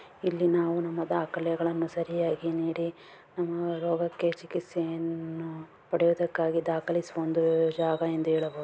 ಇಲ್ಲಿ ನಾವು ನಮ್ಮಾ ದಾಖಲೆಗಳನ್ನು ಸರಿಯಾಗಿ ನೀಡಿ ನಮ್ಮಾ ರೋಗಕ್ಕೆ ಚಿಕಿಸ್ತೆಯನ್ನು ಪಡೆಯುವುದಕ್ಕಾಗಿ ದಾಖಲಿಸಿ ಹೊಂದುವೆವಿರಬಹುದು.